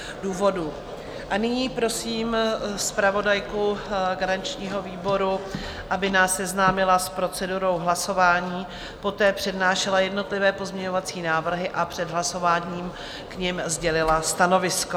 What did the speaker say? A nyní prosím zpravodajku garančního výboru, aby nás seznámila s procedurou hlasování, poté přednášela jednotlivé pozměňovací návrhy a před hlasováním k nim sdělila stanovisko.